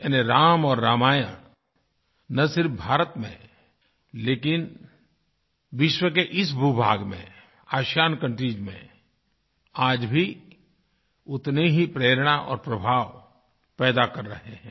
यानी राम और रामायणन सिर्फ़ भारत में लेकिन विश्व के इस भूभाग में आसियान कंट्रीज में आज भी उतने ही प्रेरणा और प्रभाव पैदा कर रहे हैं